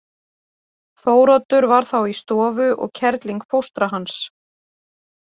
Þóroddur var þá í stofu og kerling fóstra hans.